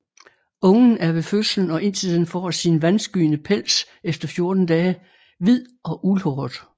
Ungen er ved fødslen og indtil den får sin vandskyende pels efter 14 dage hvid og uldhåret